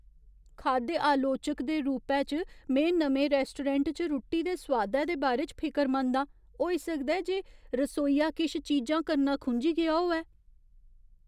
खाद्य आलोचक दे रूपै च, में नमें रैस्टोरैंट च रुट्टी दे सोआदै दे बारे च फिकरमंद आं। होई सकदा ऐ जे रसोइया किश चीजां करना खुंझी गेआ होऐ।